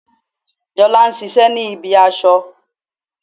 Jolá n sisé ní ibi aso